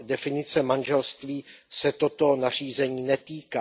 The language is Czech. definice manželství, se toto nařízení netýká.